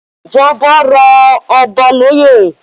Ìjọba rọ̀ Ọba lóye